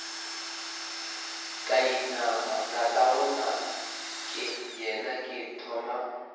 ka inama tatagonakeyena ke thoma